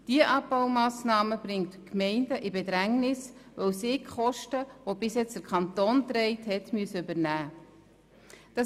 Diese Abbaumassnahme bringt die Gemeinden in Bedrängnis, weil sie die bislang vom Kanton getragenen Kosten übernehmen müssen.